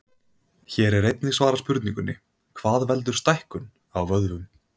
Hér er einnig svarað spurningunni: Hvað veldur stækkun á vöðvum?